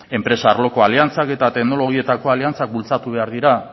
enpresa arloko aliantzak eta teknologietako aliantzak bultzatu behar dira